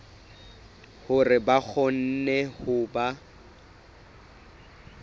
hore ba kgone ho ba